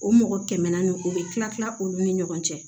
O mɔgɔ tɛmɛnna no o bɛ tila olu ni ɲɔgɔn cɛ